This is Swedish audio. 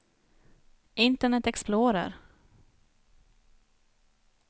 internet explorer